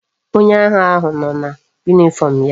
Onye agha ahu no na uwe uniform ya